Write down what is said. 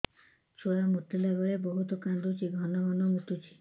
ଛୁଆ ମୁତିଲା ବେଳେ ବହୁତ କାନ୍ଦୁଛି ଘନ ଘନ ମୁତୁଛି